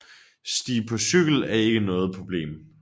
Stige på cykel er ikke noget problem